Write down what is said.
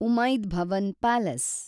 Umaid Bhawan palace